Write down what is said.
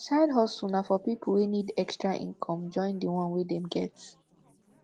side hustle na for pipo wey need extra income join di one wey dem get